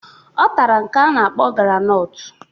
Ọ tara nke a na-akpọ granọtụ